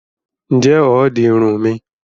Ǹjẹ́ o óò di Irun mi?